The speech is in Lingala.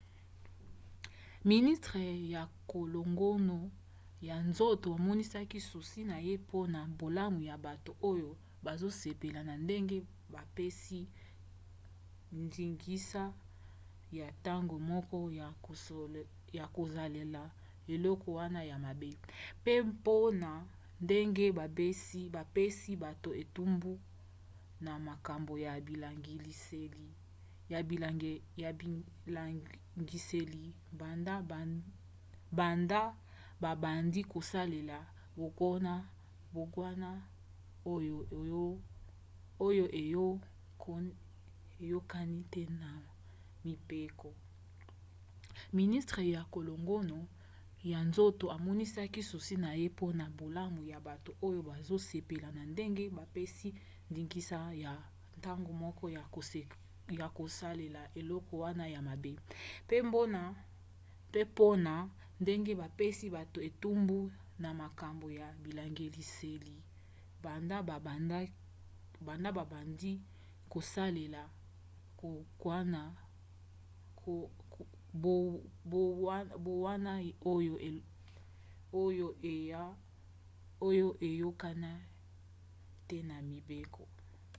ministre ya kolongono ya nzoto amonisaki susi na ye mpona bolamu ya bato oyo bazosepela na ndenge bapesi ndingisa ya ntango moke ya kosalela eloko wana ya mabe pe mpona ndenge bapesi bato etumbu na makambo ya bilangwiseli banda babandi kosalela mbongwana oyo eyokani te na mibeko